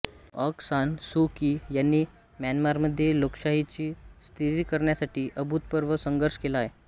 आँग San Suu Kyi यांनी म्यानमारमध्ये लोकशाहीच्या स्थिरीकरणासाठी अभूतपूर्व संघर्ष केला आहे